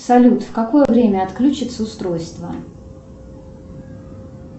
салют в какое время отключится устройство